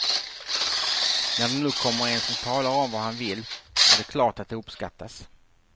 När det nu kommer en som talar om vad han vill, är det klart att det uppskattas.